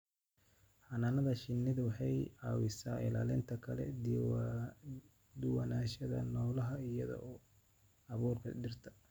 Xannaanada shinnidu waxa ay caawisaa ilaalinta kala duwanaanshaha noolaha iyada oo abuurka dhirta.